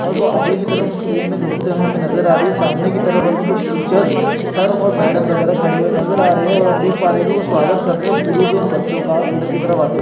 सामने की तरफ हमे कुछ टीचर्स सर और मेदम वगेरह खड़े हुए नजर आ रहे है और हम देख प रहे है की वो स्वागत कर रहे है फूलों से उन बच्चों का अंदर की तरफ आते--